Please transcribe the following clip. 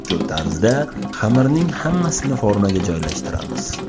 Shu tarzda xamirning hammasini formaga joylashtiramiz.